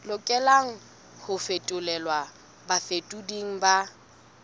lokelang ho fetolelwa bafetoleding ba